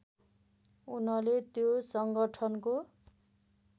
उनले त्यो सङ्गठनको